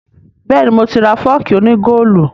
Bẹ́ẹ̀ni, mo ti ra fọ́ọ̀kì òní góòlù